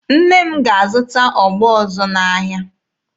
Nne m ga-azụta ogbo ọzọ n'ahịa.